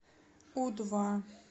у два